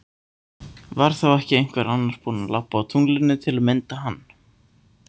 Var þá ekki einhver annar búin að labba á tunglinu til að mynda hann?